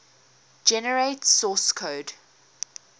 generate source code